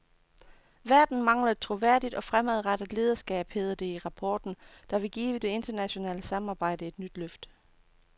Verden mangler et troværdigt og fremadrettet lederskab, hedder det i rapporten, der vil give det internationale samarbejde et nyt løft.